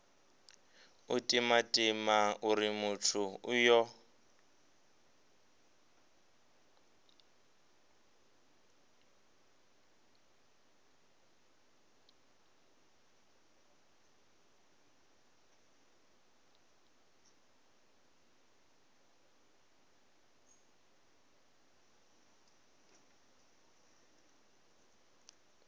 u timatima uri muthu uyo